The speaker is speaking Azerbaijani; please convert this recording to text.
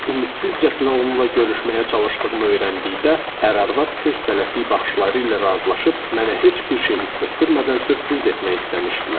Ümidsizcəsinə onunla görüşməyə çalışdığımı öyrəndikdə ər-arvad tez-tələsik baxışları ilə razılaşıb mənə heç bir şey hiss etdirmədən sürpriz etmək istəmişdilər.